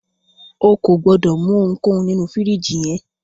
O kò gbọdọ̀ mú ohunkóhun nínu fìríjìì yẹn.